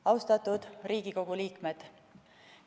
Austatud Riigikogu liikmed!